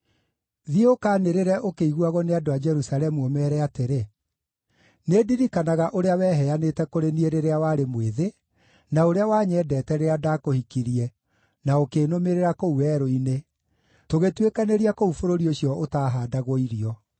“Thiĩ ũkaanĩrĩre ũkĩiguagwo nĩ andũ a Jerusalemu, ũmeere atĩrĩ: “ ‘Nĩndirikanaga ũrĩa weheanĩte kũrĩ niĩ rĩrĩa warĩ mwĩthĩ, na ũrĩa wanyendete rĩrĩa ndakũhikirie na ũkĩnũmĩrĩra kũu werũ-inĩ, tũgĩtuĩkanĩria kũu bũrũri ũcio ũtaahandagwo irio.